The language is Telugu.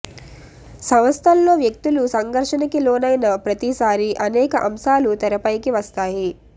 సంస్థల్లో వ్యక్తులు సంఘర్షణకి లోనైన ప్రతిసారి అనేక అంశాలు తెరపైకి వస్తాయి